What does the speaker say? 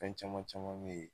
Fɛn caman caman me yen